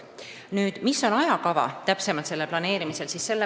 Milline on täpsem ajakava selle kõige planeerimisel?